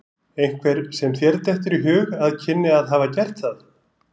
Einhver sem þér dettur í hug að kynni að hafa gert það?